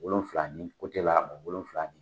Wolonfila ni ko tɛ wolonfila nin.